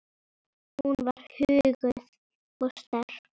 Hún var huguð og sterk.